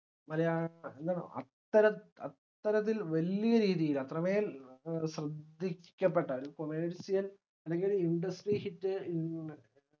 മലയാള അത്തരത് അത്തരത്തിൽ വലിയ രീതിയിൽ അത്രമേൽ ശ്രദ്ധിക്കപ്പെട്ട ഒര് commercial അല്ലെങ്കിൽ industry hit